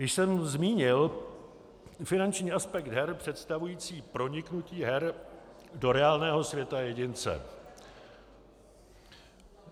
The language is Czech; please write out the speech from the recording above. Již jsem zmínil finanční aspekt her představující proniknutí her do reálného světa jedince.